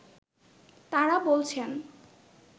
তাঁরা বলছেন